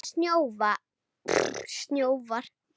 Þegar snjóar í hvassviðri er hætt við að úrkoman mælist mjög laklega.